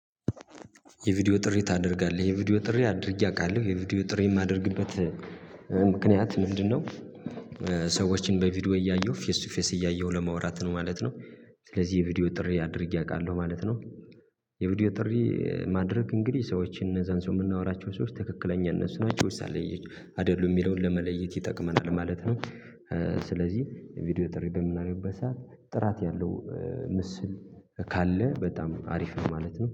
የቪዲዮ ጥሪ ታደርጋለህ? የቪዲዮ ጥሪ አድርጌ አውቃለሁ። የቪዲዮ ጥሪ የማደርግበት ምክንያት ምንድነው? ሰዎችን በቪዲዮ እያየሁ ፌስ ቱ ፌስ እያየሁ ለማውራት ነው ማለት ነው። ስለዚህ የቪዲዮ ጥሪ አድርጌ አውቃለሁ ማለት ነው። የቪዲዮ ጥሪ ማድረግ እንግዲህ ሰዎችን እነዛን ሰው የምናወራቸው ሰዎች ትክክለኛ እነሱ ናቸው ወይስ አይደሉም አይደሉም የሚለውን ለመለየት ይጠቅመናል ማለት ነው። ስለዚህ የቪዲዮ ጥሪ በምናምን ሰዓት ጥራት ያለው ምስል ካለ በጣም አሪፍ ማለት ነው።